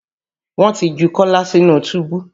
Wọ́n ti ju Kọ́lá sínú túbú